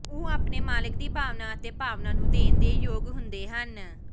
ਉਹ ਆਪਣੇ ਮਾਲਿਕ ਦੀ ਭਾਵਨਾ ਅਤੇ ਭਾਵਨਾ ਨੂੰ ਦੇਣ ਦੇ ਯੋਗ ਹੁੰਦੇ ਹਨ